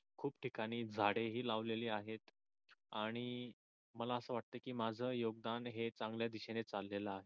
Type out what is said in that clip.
खूप ठिकाणी झाडे ही लावली आहेत आणि मला आस वाटतंय की माझ योगदान हे चांगल्या दिशेनी चाललेल आहे.